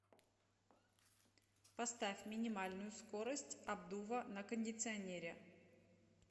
поставь минимальную скорость обдува на кондиционере